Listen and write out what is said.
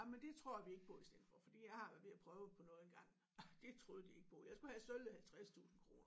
Jamen det tror vi ikke på i stedet for fordi jeg vi har prøvet på noget engang. Det troede de ikke på jeg skulle have sølle 50 tusind kroner